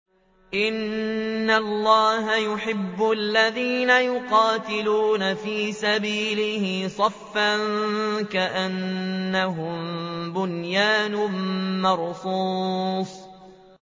إِنَّ اللَّهَ يُحِبُّ الَّذِينَ يُقَاتِلُونَ فِي سَبِيلِهِ صَفًّا كَأَنَّهُم بُنْيَانٌ مَّرْصُوصٌ